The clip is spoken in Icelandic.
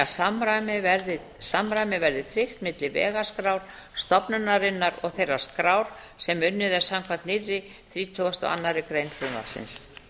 að samræmi verði tryggt milli vegaskrár stofnunarinnar og þeirrar skrár sem unnið er samkvæmt nýrri þrítugustu og annarri grein frumvarpsins